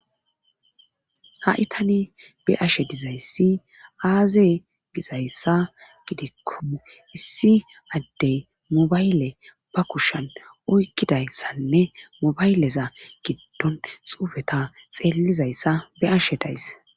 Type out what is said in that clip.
Ha itani be ashe dizayssi aaze gizayssa gidikkome issi addey mobayle ba kushan oykkidayssanne mobayleza giddon xufeta xeellizayssa beashe days